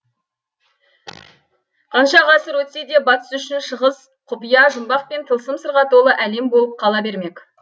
қанша ғасыр өтсе де батыс үшін шығыс құпия жұмбақ пен тылсым сырға толы әлем болып қала бермек